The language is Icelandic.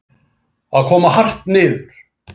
Að koma hart niður